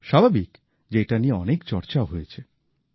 স্বাভাবিক যে এটা নিয়ে অনেক চর্চা হয়েছে